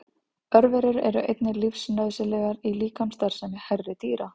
Örverur eru einnig lífsnauðsynlegar í líkamsstarfsemi hærri dýra.